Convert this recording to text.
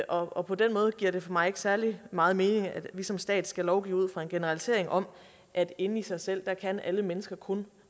og på den måde giver det for mig ikke særlig meget mening at vi som stat skal lovgive ud fra en generalisering om at inde i sig selv kan alle mennesker kun